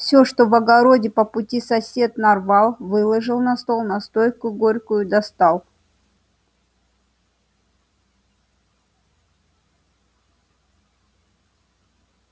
всё что в огороде по пути сосед нарвал выложил на стол настойку горькую достал